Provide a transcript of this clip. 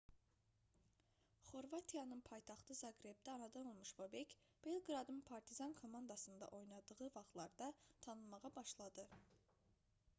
xorvatiyanın paytaxtı zaqrebdə anadan olmuş bobek belqradın partizan komandasında oynadığı vaxtlarda tanınmağa başladı